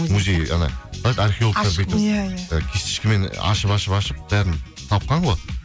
музей ана иә иә кисточкамен ашып ашып ашып бәрін тапқан ғой